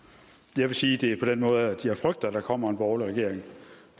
jeg vil sige det på den måde at jeg frygter at der kommer en borgerlig regering